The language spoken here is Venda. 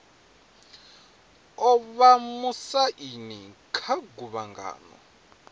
o vha musaini kha guvhangano